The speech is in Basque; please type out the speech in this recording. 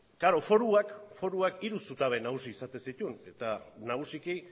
klaro foruak foruak hiru zutabe nagusi izaten zituen eta nagusiki